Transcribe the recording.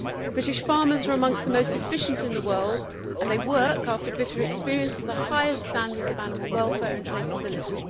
British farmers are amongst the most efficient in the world and they work, after bitter experience, to the highest standards of animal welfare and traceability.